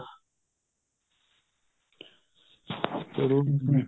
ਚਲੋ